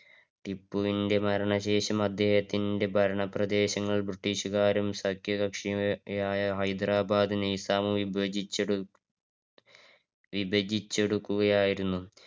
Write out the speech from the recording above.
ടിപ്പുവിന്റെ മരണ ശേഷം അദ്ദേഹത്തിന്റെ ഭരണപ്രദേശങ്ങൾ British കാരും സഖ്യകക്ഷിയുമായ ഹൈദരാബാദ് നൈസാമും വിഭജിച്ചെടു വിഭജിച്ചെടുക്കുകയായിരുന്നു.